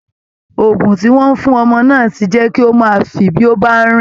Ògùn tí wọ́n fún ọmọ náà ti jẹ́ kí ó máa fì bí ó bá ń rìn